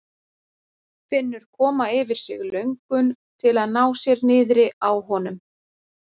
Finnur koma yfir sig löngun til að ná sér niðri á honum.